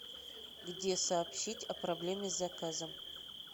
где сообщить о проблеме с заказом